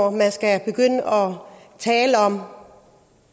at man skal tale om